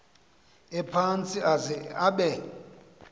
ephantsi aze abe